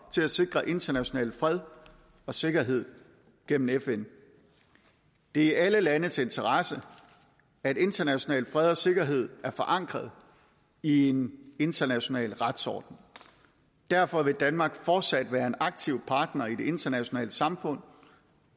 til at sikre international fred og sikkerhed gennem fn det er i alle landes interesse at international fred og sikkerhed er forankret i en international retsorden derfor vil danmark fortsat være en aktiv partner i det internationale samfund